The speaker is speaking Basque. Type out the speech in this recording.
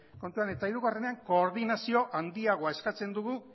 kontuan eta hiruean koordinazio handiagoa eskatzen dugu